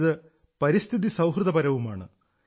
ഇത് പരിസ്ഥിതി സൌഹൃദപരവുമാണ്